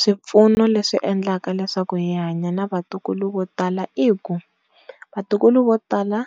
Swipfuno leswi endlaka leswaku hi hanya na va tikulu vo tala i ku va tikulu vo tala